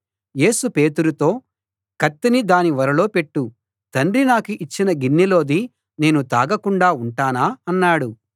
యేసు పేతురుతో కత్తిని దాని ఒరలో పెట్టు తండ్రి నాకు ఇచ్చిన గిన్నెలోది నేను తాగకుండా ఉంటానా అన్నాడు